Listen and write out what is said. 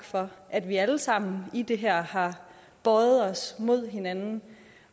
for at vi alle sammen i det her har bøjet os mod hinanden